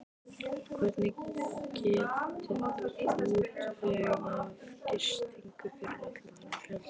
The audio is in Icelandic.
Hvernig getiði útvegað gistingu fyrir allan þennan fjölda?